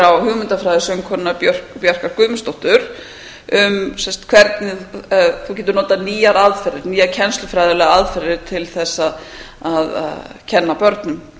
á hugmyndafræði söngkonunnar bjarkar guðmundsdóttur um hvernig þú getur notað nýjar aðferðir nýjar kennslufræðilegar aðferðir til þess að kenna börnum